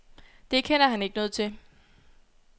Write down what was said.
Det kender han ikke noget til.